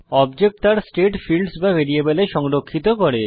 object তার state fields বা ভ্যারিয়েবলে সংরক্ষিত করে